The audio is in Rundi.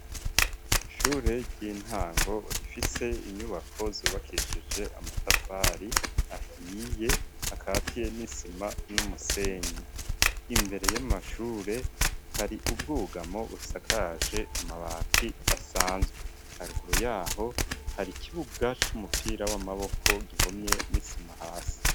Ishure ry'intango rifise inyubako zubakeshije amatafari ahiye akatiye n'isima n'umusenyi imbere y'amashure hari ubwugamo busakaje amabati asanzwe haruguru yaho hari ikibuga c'umupira w'amaboko gihomye n'isima hasi.